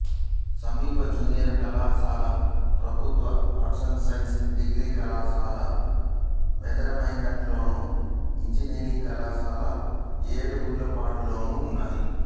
సమీప జూనియర్ కళాశాల ప్రభుత్వ ఆర్ట్స్ సైన్స్ డిగ్రీ కళాశాల మేదరమెట్లలోను ఇంజనీరింగ్ కళాశాల ఏడుగుండ్లపాడులోనూ ఉన్నాయి